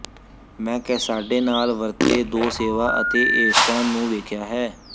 ਮੈਂ ਕੈਸਾਡੇ ਨਾਲ ਵਰਤੇ ਦੋ ਸੇਵਾ ਅਤੇ ਏਸਟਾਂ ਨੂੰ ਵੇਖਿਆ ਹੈ